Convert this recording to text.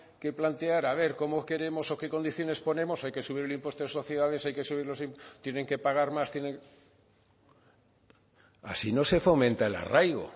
que plantear a ver cómo queremos o qué condiciones ponemos hay que subir el impuesto de sociedades hay que subir los tienen que pagar más tienen que así no se fomenta el arraigo